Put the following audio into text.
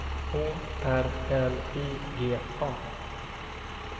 Å R L I G A